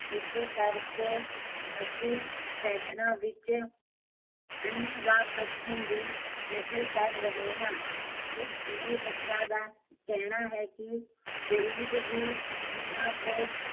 ਇਸੇ ਕਰਕੇ, ਅਸੀਂ ਫੈਸ਼ਨਾ ਵਿੱਚ ਅੰਨੇਵਾਹ ਪੱਛਮ ਦੀ ਨਕਲ ਕਰ ਰਹੇ ਹਾਂ ਇਸ ਲਈ ਲੋਕਾਂ ਦਾ ਕਹਿਣਾ ਹੈ ਕੀ ਗਰੀਬ ਵੀ, ਇਹਨਾਂ ਤੋਂ